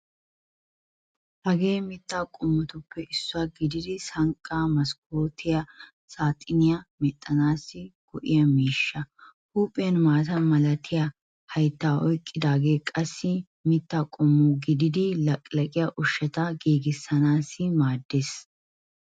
Hagee mittaa qommotuppe issuwa gididi sanqqaa, maskkootiyanne saaxiniya mexxanaassi go"iyaa miishsha. Huuphiyan maata malatiya hayttaa oyqqidaagee qassi mitta qommo gididi laqilaqiya ushshata giissanaassi maaddeees.